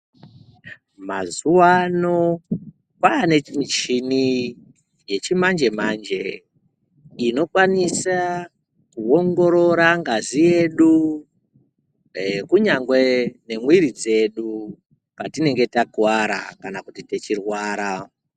Mazuva ano kwane michini yechimanje manje inokwanisa kuongorora ngazi yedu kunyangwe memwiri dzedu patinenge takuvara kana tichirwara.